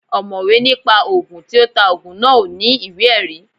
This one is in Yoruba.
Ọ̀mọ̀wé ní pa Ògùn, tí ó ta Ògùn náà ò ní ìwé ẹ̀rí